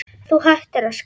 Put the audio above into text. Þú hættir að skrifa.